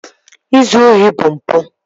Ịzụ ohi bụ mpụ